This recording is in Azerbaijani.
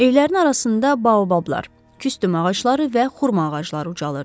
Evlərin arasında baobablar, küstüm ağacları və xurma ağacları ucalırdı.